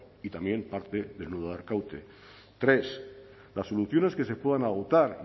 y también parte del nudo de arkaute tres las soluciones que se puedan adoptar